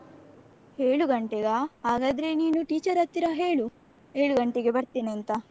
ಏಳು ಗಂಟೆಗಾ ಹಾಗಾದ್ರೆ ನೀನು teacher ಹತ್ತಿರ ಹೇಳು ಏಳು ಗಂಟೆಗೆ ಬರ್ತೇನೆ ಅಂತ.